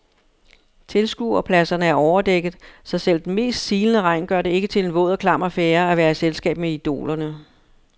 Tilskuerpladserne er overdækket, så selv den mest silende regn gør det ikke til en våd og klam affære at være i selskab med idolerne.